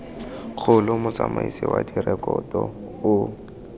kgolo motsamaisi wa direkoto o